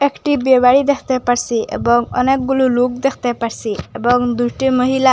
একটি বিয়েবাড়ি দেখতে পারসি এবং অনেকগুলু লুক দেখতে পারসি এবং দুটি মহিলা--